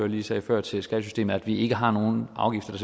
lige sagde før til skattesystemet så vi ikke har nogen afgifter